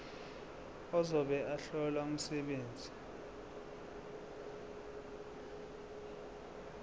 ozobe ehlola umsebenzi